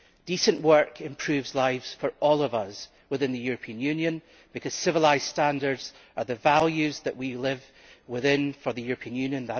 Decent work improves lives for all of us within the European Union because civilised standards are the values that we live for within the European Union.